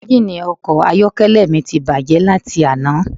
Engini ọkọ̀ ayọ́kẹ́lẹ́ mi ti bàjé láti àná